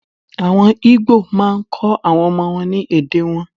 Àwọn igbo maá kọ́ àwọn ọmọ wọn ní èdè wọn.